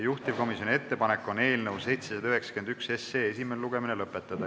Juhtivkomisjoni ettepanek on eelnõu 791 esimene lugemine lõpetada.